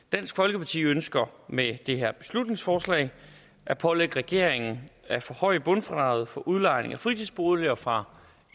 dansk folkeparti ønsker med det her beslutningsforslag at pålægge regeringen at forhøje bundfradraget for udlejning af fritidsboliger fra